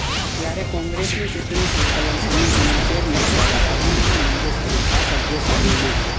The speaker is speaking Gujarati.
ત્યારે કોંગ્રેસની ચૂંટણી સંકલન સમિતીનાં ચેરમેન દ્વારા રાજીનામા મંજુર કરી આ સભ્યો સામે મે